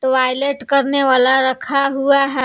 Toilet करने वाला रखा हुआ है।